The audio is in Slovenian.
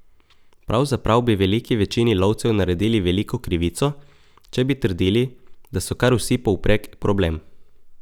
Pravzaprav bi veliki večini lovcev naredili veliko krivico, če bi trdili, da so kar vsi povprek problem.